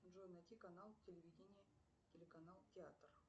джой найти канал телевидения телеканал театр